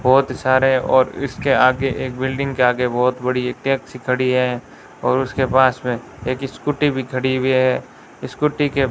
बहुत सारे और इसके आगे एक बिल्डिंग के आगे बहुत बड़ी टैक्सी खड़ी है और उसके पास में एक स्कूटी भी खड़ी हुई है स्कूटी के --